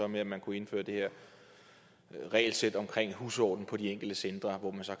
med at man kunne indføre det her regelsæt omkring husordenen på de enkelte centre hvor man så